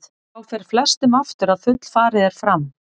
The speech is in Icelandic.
Þá fer flestum aftur að fullfarið er fram.